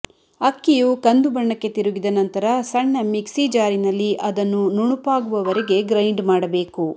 ಅಕ್ಕಿಯು ಕಂದು ಬಣ್ಣಕ್ಕೆ ತಿರುಗಿದ ನಂತರ ಸಣ್ಣ ಮಿಕ್ಸಿ ಜಾರಿನಲ್ಲಿ ಅದನ್ನು ನುಣುಪಾಗುವವರೆಗೆ ಗ್ರೈಂಡ್ ಮಾಡಬೇಕು